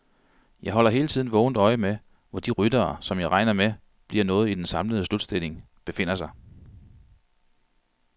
Jeg holder hele tiden vågent øje med, hvor de ryttere, som jeg regner med bliver noget i den samlede slutstilling, befinder sig.